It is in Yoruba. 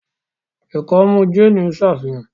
ikọmu Jane n ṣàfihàn